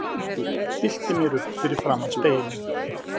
Stilli mér upp fyrir framan spegilinn.